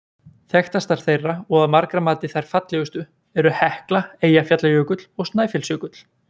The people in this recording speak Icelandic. Þekktastar þeirra og að margra mati þær fallegustu eru Hekla, Eyjafjallajökull og Snæfellsjökull.